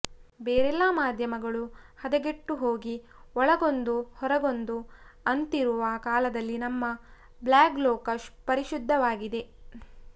ಬೇರೆಲ್ಲಾ ಮಾದ್ಯಮಗಳು ಹದಗೆಟ್ಟುಹೋಗಿ ಒಳಗೊಂದು ಹೊರಗೊಂದು ಅಂತಿರುವ ಕಾಲದಲ್ಲಿ ನಮ್ಮ ಬ್ಲಾಗ್ ಲೋಕ ಪರಿಶುಧ್ಧವಾಗಿದೆ